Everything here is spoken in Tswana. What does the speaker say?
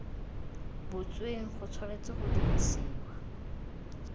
butsweng go tshwanetse ga dirisiwa